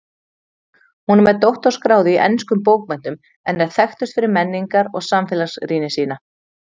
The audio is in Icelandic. Hún er með doktorsgráðu í enskum bókmenntum en er þekktust fyrir menningar- og samfélagsrýni sína.